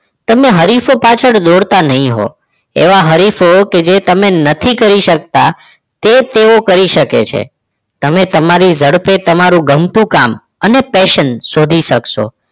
તમે હરીફ પાછળ દોડતા નહીં હોવ એવા હરીફો કે જે તમે નથી કરી શકતા તે તેઓ કરી શકે છે તમે તમારી ઝડપે તમારું ગમતું કામ અને fashion શોધી શકશો.